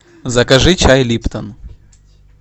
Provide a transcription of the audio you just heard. закажи чай липтон